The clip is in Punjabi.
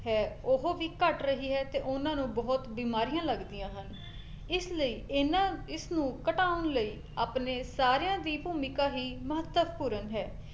ਹੈ ਉਹ ਵੀ ਘੱਟ ਰਹੀ ਹੈ ਤੇ ਉਹਨਾਂ ਨੂੰ ਬਹੁਤ ਬਿਮਾਰੀਆਂ ਲੱਗਦੀਆਂ ਹਨ ਇਸ ਲਈ ਇਹਨਾਂ ਇਸਨੂੰ ਘਟਾਉਣ ਲਈ ਆਪਣੇ ਸਾਰਿਆਂ ਦੀ ਭੂਮਿਕਾ ਹੀ ਮਹੱਤਵਪੂਰਨ ਹੈ